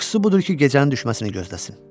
Yaxşısı budur ki, gecənin düşməsini gözləsin.